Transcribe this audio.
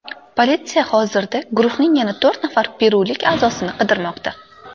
Politsiya hozirda guruhning yana to‘rt nafar perulik a’zosini qidirmoqda.